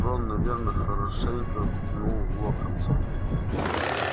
рон наверное хорошенько пнул локонса